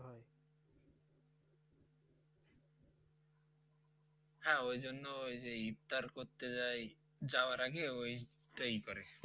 হ্যাঁ ওই জন্য ওই যে ইফতার করতে যাই যাওয়ার আগে ওইটাই করে